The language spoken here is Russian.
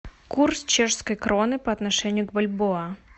курс чешской кроны по отношению к бальбоа